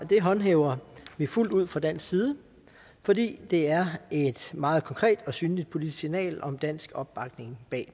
det håndhæver vi fuldt ud fra dansk side fordi det er et meget konkret og synligt politisk signal om dansk opbakning